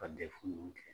Ka dɛfu kɛ